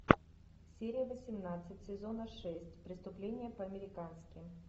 серия восемнадцать сезона шесть преступление по американски